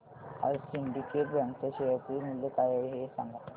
आज Syndicate Bank च्या share चे मूल्य काय आहे हे सांगा